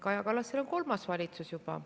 Kaja Kallasel on kolmas valitsus juba.